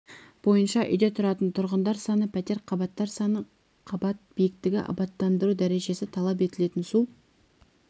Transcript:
бойынша үйде тұратын тұрғындар саны пәтер қабаттар саны қабат биіктігі абаттандыру дәрежесі талап етілетін су